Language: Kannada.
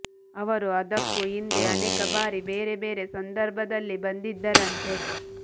ಅವರು ಅದಕ್ಕೂ ಹಿಂದೆ ಅನೇಕ ಬಾರಿ ಬೇರೆ ಬೇರೆ ಸಂದರ್ಭದಲ್ಲಿ ಬಂದಿದ್ದರಂತೆ